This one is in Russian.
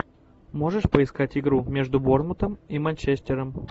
можешь поискать игру между борнмутом и манчестером